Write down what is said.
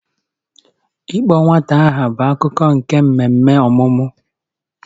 Ịkpọ nwata aha bụ akụkụ nke mmemme ọmụmụ